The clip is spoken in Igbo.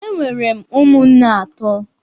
Enwere m ụmụnne atọ.